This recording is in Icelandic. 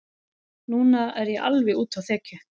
Núna er ég alveg úti á þekju.